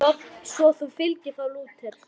Svo þú fylgir þá Lúter?